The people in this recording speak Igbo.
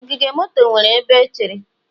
Ogige moto nwere ebe echere.